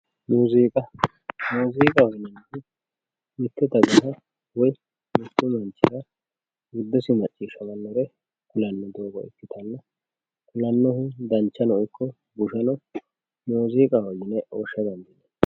Muziiqa muziiqaho yineemmo woyte mite dagara woyi mite basera huurose xawisate ku'lano doogo ikkanna ,kulanni coyi bushano danchano ikko muziiqaho yine woshsha dandiineemmo.